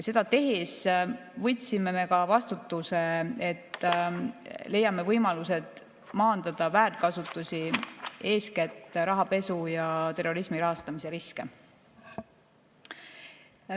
Seda tehes võtsime me ka vastutuse, et leiame võimalused maandada väärkasutust, eeskätt rahapesu ja terrorismi rahastamise riske.